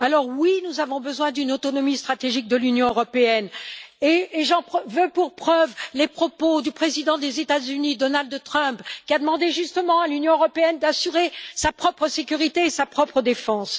Oui, nous avons besoin d'une autonomie stratégique de l'Union européenne, et j'en veux pour preuve les propos du président des États Unis, Donald Trump, qui a demandé à l'Union européenne d'assurer sa propre sécurité et sa propre défense.